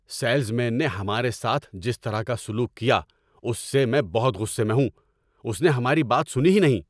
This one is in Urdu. سیلز مین نے ہمارے ساتھ جس طرح کا سلوک کیا اس سے میں بہت غصے میں ہوں، اس نے ہماری بات سنی ہی نہیں۔